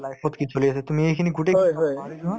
life ত কি চলি আছে তুমি এই গোটেইখিনি পাহৰি যোৱা